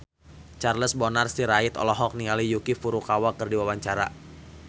Charles Bonar Sirait olohok ningali Yuki Furukawa keur diwawancara